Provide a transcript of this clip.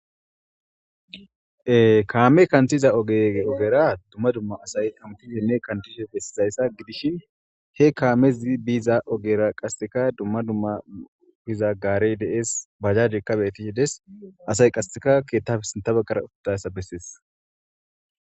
kaame kanthiza ge ogera dumma dumma asay antihenne kantise bessisayssa gidish he kaamezi biiza ogera qaseeka dumma dumma biza gaarey dees bajjadikka bettihe des asay qaseeka keettaf sintabegkara uttayssa bessees.